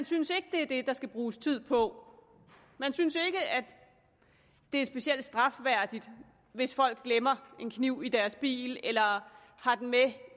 synes at det er det der skal bruges tid på man synes ikke at det er specielt strafværdigt hvis folk glemmer en kniv i deres bil eller har den med